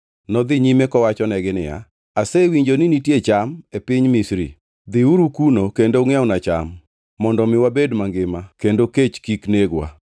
Nodhi nyime kowachonegi niya, “asewinjo ni nitie cham e piny Misri. Dhiuru kuno kendo ungʼiewnwa cham, mondo mi wabed mangima kendo kech kik negwa.”